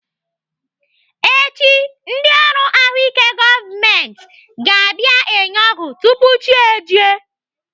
Echi, ndị ọrụ ahụike gọọmenti ga-abịa enye ọgwụ tupu chi ejie.